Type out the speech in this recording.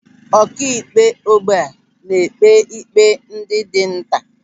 Ọkaikpe ógbè na-ekpe ikpe ndị dị nta.